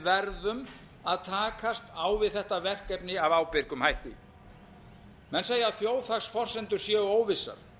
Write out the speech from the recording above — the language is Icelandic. verðum að takast á vi þetta verkefni af ábyrgum hætti menn segja að þjóðhagsforsendur séu óvissar